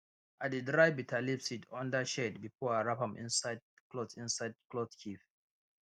i dey dry bitterleaf seed under shade before i wrap am inside cloth inside cloth keep